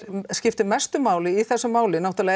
skiptir mestu máli í þessu máli er náttúrulega